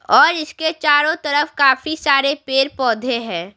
और इसके चारों तरफ काफी सारे पेड़-पौधे हैं।